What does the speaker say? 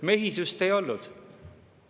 Mehisust ei olnud?